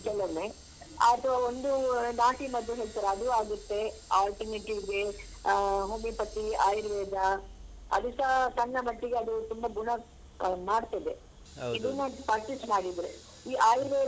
ಕೆಲವೊಮ್ಮೆ ಅಥ್ವಾ ಒಂದು ನಾಟಿ ಮದ್ದು ಹೇಳ್ತಾರೆ ಅದೂ ಆಗುತ್ತೆ alternative ಗೆ ಆ homeopathy ಆಯುರ್ವೇದ ಅದೂಸ ಸಣ್ಣ ಮಟ್ಟಿಗೆ ಅದು ತುಂಬ ಗುಣ ಅಹ್ ಮಾಡ್ತದೆ ಇದನ್ನ practice ಮಾಡಿದ್ರೆ ಈ ಆಯುರ್ವೇದ.